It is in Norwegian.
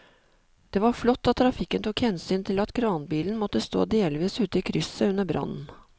Det var flott at trafikken tok hensyn til at kranbilen måtte stå delvis ute i krysset under brannen.